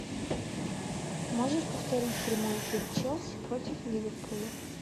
можешь повторить прямой эфир челси против ливерпуля